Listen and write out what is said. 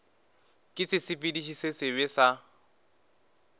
ke sesepediši se sebe sa